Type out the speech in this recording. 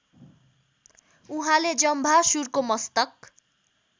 उहाँले जम्भासुरको मस्तक